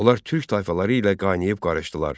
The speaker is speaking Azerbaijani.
Onlar Türk tayfaları ilə qayneyib qarışdılar.